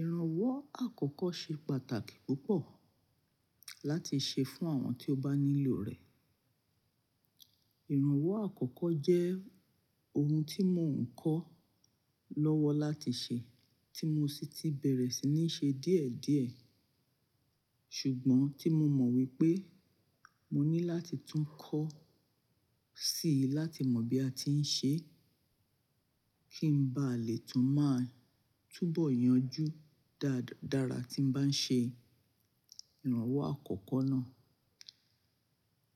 Ìrànwọ́ àkọ́kọ́ ṣe pàtàkì púpọ̀ láti ṣe fún àwọn tí ó bá nílò rẹ̀. Ìrànwọ́ àkọ́kọ́ jẹ́ ohun tí mò ń kọ́ lọ́wọ́ láti ṣe, tí mo sì ti bẹ̀rẹ̀ sí ní ṣe díẹ̀ díẹ̀. Ṣùgbọ́n tí mo mọ̀ wípé mo ní láti tún kọ́ síi láti mọ bí a ti ń ṣe, kí n ba lè tún máa túbọ̀ yanjú dáadára tí ń bá ń ṣe ìrànwọ́ àkọ́kọ́ náà.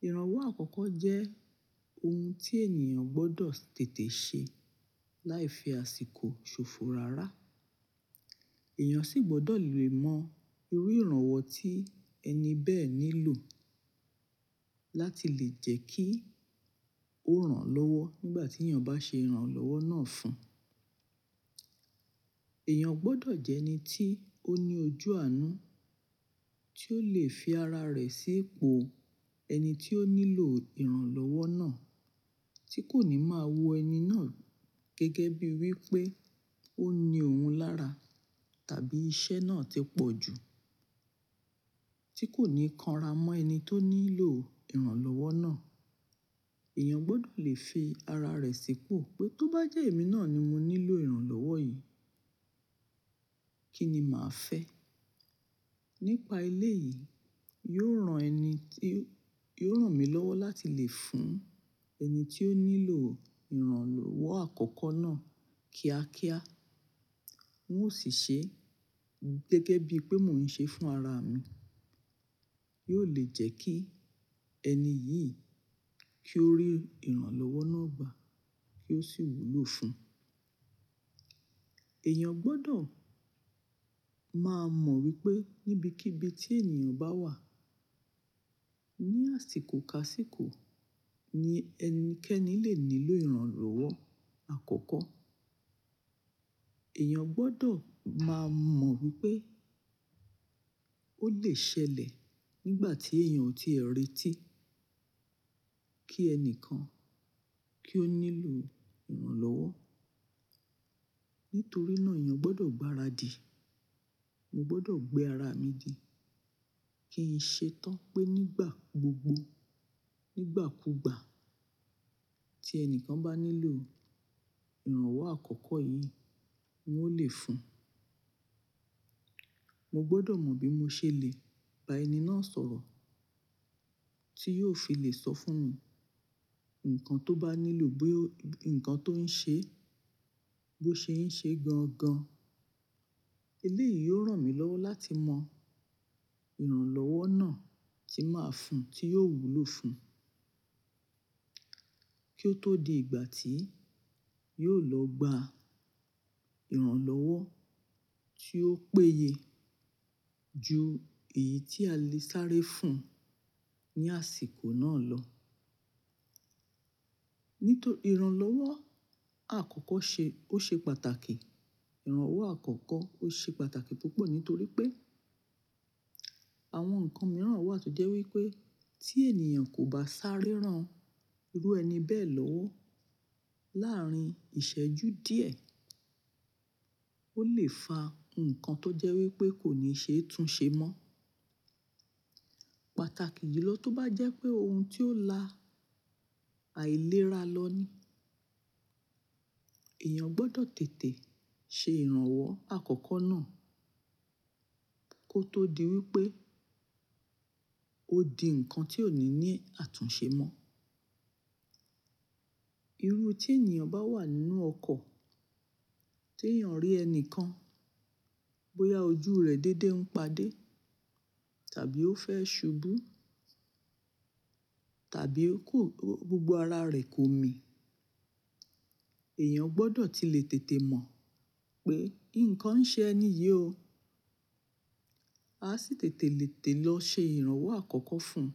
Ìrànwọ́ àkọ́kọ́ jẹ́ ohun tí ènìyàn gbọdọ̀ tètè ṣe láì fi àsìkò ṣòfò rárá. Èèyàn sì gbọdọ̀ le mọ irú ìrànwọ́ tí ẹni bẹ́ẹ̀ nílò láti lè jẹ́ kí ó ràn lọ́wọ́ nígbà tí ènìyàn bá ṣe ìrànlọ́wọ́ náà fún. Ẹ̀yàn gbọdọ̀ jẹ́ ẹni tí ó ní ojú àánú, tí ó lè fi ara rẹ̀ sí ipò ẹni tí ó nílò ìrànlọ́wọ́ náà, tí kò ní máa wo ẹni náà gẹ́gẹ́ bí wípé ó ní ohun lára, tàbí iṣẹ́ náà ti pọ̀ jù, tí kò ní kanra mọ ẹni tó nílò ìrànlọ́wọ́ náà. Ẹ̀yàn gbọdọ̀ lè fi ara rẹ̀ sí ipò pé tó bá jẹ́ èmi náà ni mo nílò ìrànlọ́wọ́ yìí, kíni màá fẹ́? Nípa eleyìí, yóò ran ẹni tí, yóò ràn mí lọ́wọ́ láti lè fún ẹni tí ó nílò ìrànlọ́wọ́ àkọ́kọ́ náà kíákíá. N ó sì ṣe gẹ́gẹ́ bí pé mò ń ṣe fún ara mi. Yio lè jẹ́ kí ẹni yìí kí ó rí ìrànlọ́wọ́ náà gbà kí ó sì wúlò fún. Ẹ̀yàn gbọdọ̀ má mọ wípé níbikíbi tí ènìyàn bá wà, ní àsìkò kasíko ni ẹnikẹ́ni lè nílò ìrànlọ́wọ́ àkọ́kọ́. Ẹ̀yàn gbọdọ̀ má mọ wípé ó lè ṣẹlẹ̀ nígbà tí èèyàn ò tíe retí kí ẹnìkan kí ó nílò ìrànlọ́wọ́. Nítorí náà èèyàn gbọdọ̀ gbáradì. Mo gbọdọ̀ gbé ara mi di kí n ṣe tán pé nígbà gbogbo, nígbàkúgbà tí ẹni kan bá nílò ìrànwọ́ àkọ́kọ́ yìí, n ó lè fún. Mo gbọdọ̀ mọ bí mo ṣe lè ba ẹni náà sọ̀rọ̀ tí yóò fi lè sọ fún mi nǹkan tó bá nílò, bó yo nǹkan tó ń ṣe, bó ṣe ń ṣe gangan. Ilé yìí yóò ràn mí lọ́wọ́ láti mọ ìrànlọ́wọ́ náà tí màá fún, tí yóò wúlò fún kí ó tó di ìgbà tí yóò lọ gba ìrànlọ́wọ́ tí ó péye ju èyí tí a lè sáré fún ní àsìkò náà lọ. Nítorí ìrànlọ́wọ́ àkọ́kọ́ ṣe, ó ṣe pàtàkì. Ìrànwọ́ àkọ́kọ́ ó ṣe pàtàkì púpọ̀ nítorí pé àwọn nǹkan mìíràn wà tó jẹ́ wípé tí ènìyàn kò bá sáré rán irú ẹni bẹ́ẹ̀ lọ́wọ́ láàárín ìṣẹ́jú díẹ̀, ó lè fa nǹkan tó jẹ́ wípé kò ní ṣe é tún ṣe mọ́. Pàtàkì ju lọ tó bá jẹ́ pé ohun tí ó lá àìlera lọ ní. Ẹ̀yàn gbọdọ̀ tètè ṣe ìrànwọ́ àkọ́kọ́ náà kó tó di wípé ó di ǹkan tí ò ní ní àtúnṣe mọ́. Irú tí ènìyàn bá wà nínú ọkọ̀ tí èèyàn rí ẹni kan bóyá ojú rẹ̀ déédé ń padé, tàbí ó fẹ́ ṣubú, tàbí kò, gbogbo ara rẹ̀ kò mì. Ẹ̀yàn gbọdọ̀ tí lè tètè mọ̀ pé nǹkan ń ṣe ẹni yìí o. A sì tètè lè tẹ̀ lọ ṣe ìrànwọ́ àkọ́kọ́ fún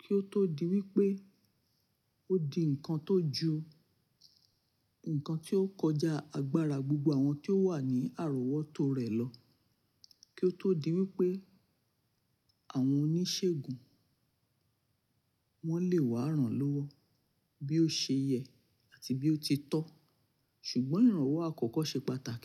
kí ó tó di wípé ó di ǹkan tó ju, ǹkan tí ó kọjá agbára gbogbo àwọn tí ó wà ní àròwọ́tó rẹ̀ lọ. Kí ó tó di wípé àwọn oníṣègùn wọ́n lè wá ràn lọ́wọ́ bí ó ṣe yẹ àti bí ó ti tọ́. Ṣùgbọ́n ìrànwọ́ àkọ́kọ́ ṣe pàtàkì.